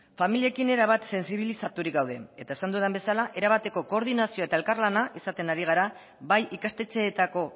familiekin erabat sentsibilizaturik gaude eta esan dudan bezala era bateko koordinazio eta elkarlana izaten ari gara bai ikastetxeetako